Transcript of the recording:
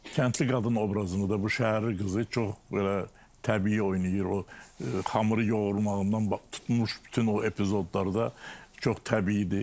Kəndli qadın obrazını da bu şəhərli qızı çox belə təbii oynayır, o xamırı yoğurmağından tutmuş bütün o epizodlarda çox təbii idi.